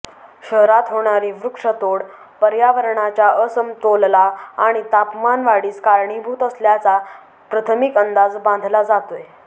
शहरात होणारी वृक्ष तोड पर्यावरणाच्या असमतोलला आणि तापमान वाढीस कारणीभूत असल्याचा प्रथमिक अंदाज बांधला जातोय